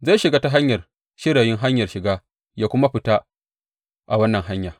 Zai shiga ta hanyar shirayin hanyar shiga yă kuma fita a wannan hanya.